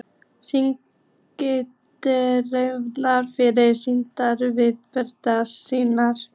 Stynja dvergar fyrir steindyrum, veggbergs vísir.